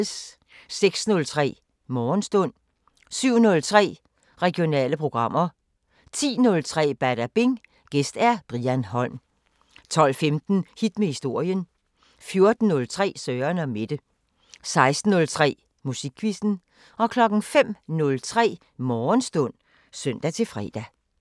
06:03: Morgenstund 07:03: Regionale programmer 10:03: Badabing: Gæst Brian Holm 12:15: Hit med historien 14:03: Søren & Mette 16:03: Musikquizzen 05:03: Morgenstund (søn-fre)